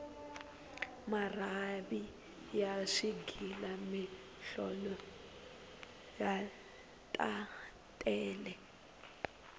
marhavi ya swighila mihlolo ta tele